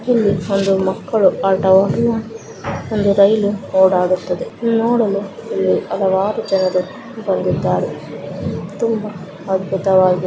ಇಲ್ಲಿ ಬಂದು ಮಕ್ಕಳು ಆಟ ಆಡುವ ಒಂದು ರೈಲು ಓಡಾಡುತ್ತಿದೆ ನೋಡಲು ಇಲ್ಲಿ ಹಲವಾರು ಜನರು ಬಂದಿದ್ದಾರೆ ತುಂಬಾ ಅದ್ಭುತವಾಗಿದೆ.